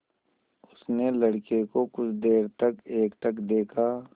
उसने लड़के को कुछ देर तक एकटक देखा